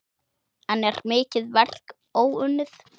Enn er mikið verk óunnið.